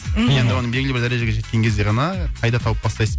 мхм енді оны белгілі бір дәрежеге жеткен кезде ғана пайда тауып бастайсыз